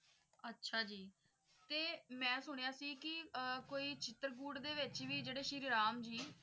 ਅੱਛਾ ਜੀ ਤੇ ਮੈਂ ਸੁਣਿਆ ਸੀ ਕਿ ਆਹ ਕੋਈ ਚਿਤ੍ਰਕੂਟ ਦੇ ਵਿਚ ਵੀ ਜੇੜੇ ਸ਼੍ਰੀ ਰਾਮ ਜੀ